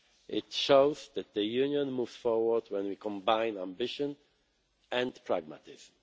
It shows that the Union moves forward when we combine ambition and pragmatism.